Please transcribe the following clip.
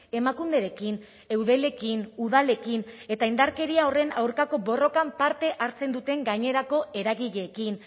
emakunderekin eudelekin udalekin eta indarkeria horren aurkako borrokan parte hartzen duten gainerako eragileekin